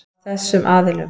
Af þessum aðilum.